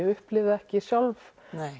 upplifa ekki sjálf